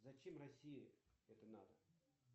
зачем россии это надо